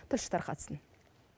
тілші тарқатсын